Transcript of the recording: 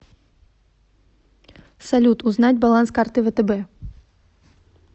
салют узнать баланс карты втб